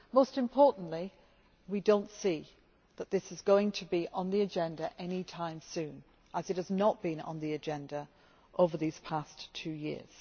Most importantly, we do not see that this is going to be on the agenda any time soon, as it has not been on the agenda over these past two years.